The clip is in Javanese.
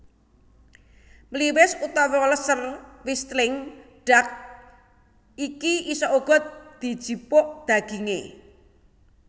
Mliwis utawa Lesser Wishtling Duck iki isa uga dijipuk dagingé